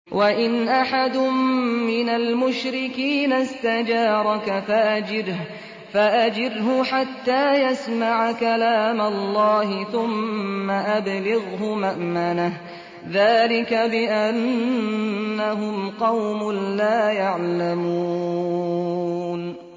وَإِنْ أَحَدٌ مِّنَ الْمُشْرِكِينَ اسْتَجَارَكَ فَأَجِرْهُ حَتَّىٰ يَسْمَعَ كَلَامَ اللَّهِ ثُمَّ أَبْلِغْهُ مَأْمَنَهُ ۚ ذَٰلِكَ بِأَنَّهُمْ قَوْمٌ لَّا يَعْلَمُونَ